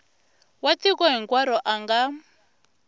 wa tiko hinkwaro a nga